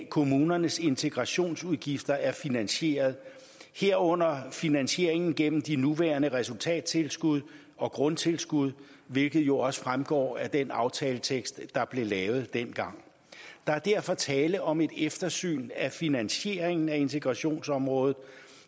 kommunernes integrationsudgifter er finansieret herunder finansieringen gennem de nuværende resultattilskud og grundtilskud hvilket jo også fremgår af den aftaletekst der blev lavet dengang der er derfor tale om et eftersyn af finansieringen af integrationsområdet